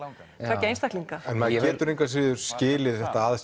tveggja einstaklinga en maður getur engu að síður skilið þetta að